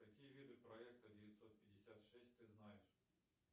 какие виды проекта девятьсот пятьдесят шесть ты знаешь